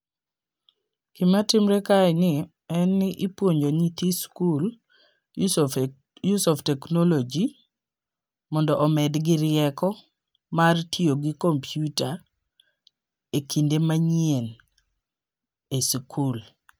Gima timre kae ni en ni ipuonjo nyithi skul use of use of technology mondo omedgi rieko mar tiyo gi kompiuta e kinde manyien e sikul.